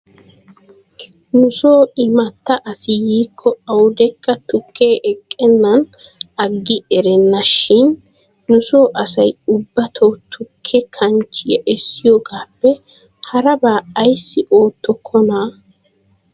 Nusoo imatta asi yiikko awdekka tukkee eqennan aggi erenna shin nuso asay ubbato tukke kanchchiyaa essiyoogaappe harabaa ayssi oottokonaa ?